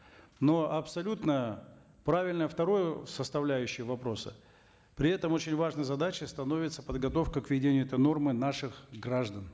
но абсолютно правильно второе составляющее вопроса при этом очень важной задачей становится подготовка к введению этой нормы наших граждан